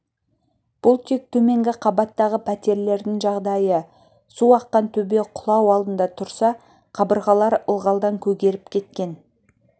бұл тек төменгі қабаттағы пәтерлердің жағдайы су аққан төбе құлау алдында тұрса қабырғалар ылғалдан көгеріп кеткен